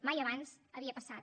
mai abans havia passat